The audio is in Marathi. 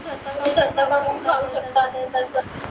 तुम्ही धबधबा पन पाहू शकता